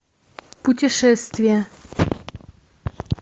путешествия